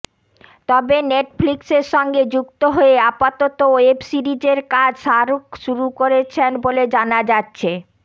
তবে নেটফ্লিক্সের সঙ্গে যুক্ত হয়ে আপাতত ওয়েব সিরিজের কাজ শাহরুখ শুরু করেছেন বলে জানা যাচ্ছে